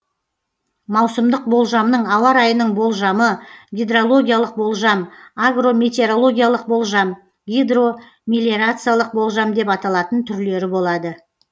маусымдық болжамның ауа райының болжамы гидрологиялық болжам агрометерологиялық болжам гидромелиорациялық болжам деп аталатын түрлері болады